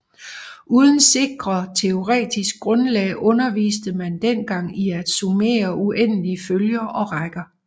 Uden sikre teoretisk grundlag underviste man den gang i at summere uendelige følger og rækker